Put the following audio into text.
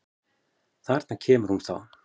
Þarna kemur hún þá!